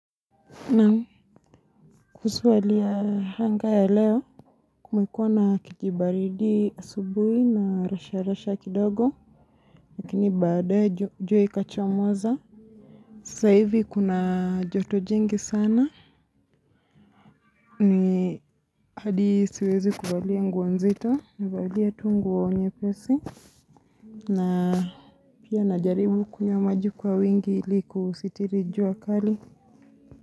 Na kuhusu hali ya hanga ya leo, kumekuwa na kijibaridi asubuhi na rasha rasha kidogo, lakini baadae jua ikachomoza, saivi kuna joto jingi sana, ni hadisiwezi kuvalia nguo nzito, navalia tu nguo nyepesi, na pia na jaribu kunywa maji kwa wingi iliku sitirijua kali.